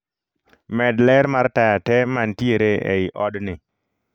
Med ler mar taya tee mantiere ei odni